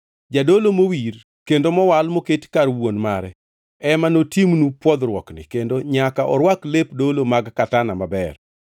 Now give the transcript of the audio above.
Jadolo mowir kendo mowal moketi kar wuon mare ema notimnu pwodhruokni, kendo nyaka orwak lep dolo mag katana maber,